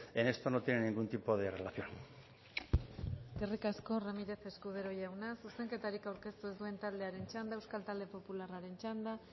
en esto no tiene ningún tipo de relación eskerrik asko ramírez escudero jauna zuzenketarik aurkeztu ez duen taldearen txanda euskal talde popularraren txanda